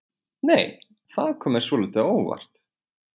Nei! Það kom mér svolítið á óvart!